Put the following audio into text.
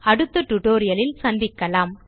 அடுத்த டுடோரியலில் சந்திக்கலாம்